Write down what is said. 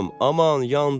Aman yandım!